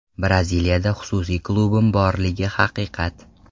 Braziliyada xususiy klubim borligi haqiqat.